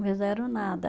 Não fizeram nada.